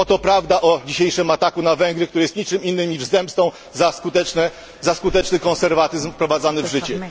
Oto prawda o dzisiejszym ataku na Węgry, który jest niczym innym jak zemstą za skuteczny konserwatyzm wprowadzany w życie.